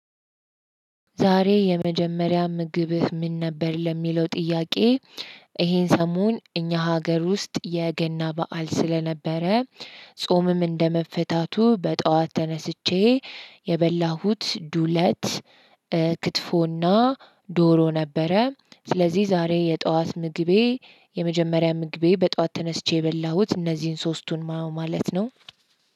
ዛሬ የመጀመሪያ ምግብህ ምን ነበር ለሚለው ጥያቄ? ይሄን ሰሞን እኛ ሀገር ውስጥ የገና በዓል ስለነበረ ጾምም እንደመፈታቱ በጠዋት ተነስቼ የበላሁት ዱለት። ክትፎና ዶሮ ነበረ። ስለዚህ ዛሬ የጠዋት ምግቤ የመጀመሪያ ምግቤ በጠዋት ተነስቼ የበላሁት እነዚህን ሶስቱን ማለት ነው።